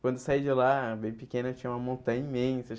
Quando eu saí de lá, bem pequeno, tinha uma montanha imensa.